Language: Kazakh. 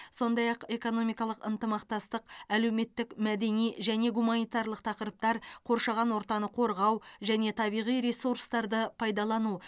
сондай ақ экономикалық ынтымақтастық әлеуметтік мәдени және гуманитарлық тақырыптар қоршаған ортаны қорғау және табиғи ресурстарды пайдалану